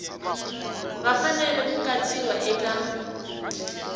va fanele ku katsiwa eka